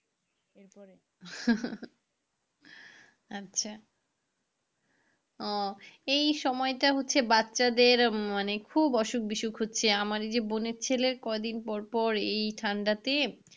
আচ্ছা ও এই সময়টা হচ্ছে বাচ্চাদের মানে খুব অসুখ বিসুখ হচ্ছে আমার যে বোনের ছেলের কদিন পর পর এই ঠান্ডাতে,